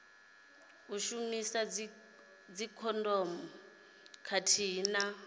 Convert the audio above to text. u shumisa dzikhondomu khathihi na